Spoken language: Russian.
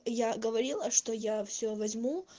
я говорила что я все возьму